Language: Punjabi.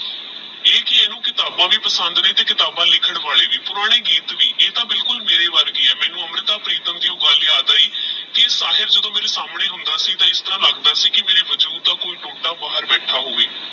ਮੈਨੂ ਕਿਤਾਬਾ ਵੀ ਪਾਸ੍ਨਾਦ ਨੇ ਤੇਹ ਲਿਖਣ ਵਾਲੇ ਵੀ ਪੁਰਾਣੇ ਗੀਤ ਵੀ ਇਹ ਦਾ ਬਿਲਕੁਲ ਮੇਰੀ ਵਰਗੀ ਆਹ ਮੈਨੂ ਅਮਰਿਤਾ ਪ੍ਰੀਤਮ ਦੀ ਓਹ ਗੱਲ ਯਾਦ ਆਯੀ ਕੀ ਸਾਹਿਲ ਜਾਦ੍ਫੋ ਮੇਰੇ ਆਮਨੇ ਹੋਂਦਾ ਸੀ ਤੇਹ ਮੈਨੂ ਇਸ ਤਰਹ ਲਗਦਾ ਸੀ ਕੀ ਮੇਰੇ ਵਜੂਦ ਦਾ ਕੋਈ ਟੋਟਾ ਬਾਹਰ ਬਿਆਥਾ ਹੋਵੇ